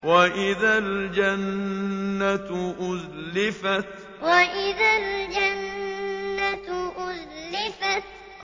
وَإِذَا الْجَنَّةُ أُزْلِفَتْ وَإِذَا الْجَنَّةُ أُزْلِفَتْ